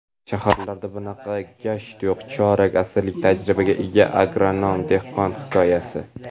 "Shaharlarda bunaqa gasht yo‘q" — chorak asrlik tajribaga ega agronom-dehqon hikoyasi.